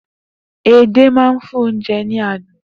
Edé máa ń fún oúnjẹ ní àádùn.